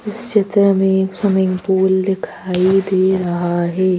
इस चित्र में एक स्विमिंग पूल दिखाई दे रहा है।